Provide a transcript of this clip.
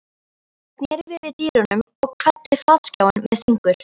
Ég sneri við í dyrunum og kvaddi flatskjáinn með fingur